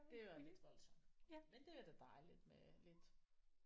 Det var lidt voldsomt men det er da dejligt med lidt